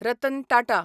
Ratan Tata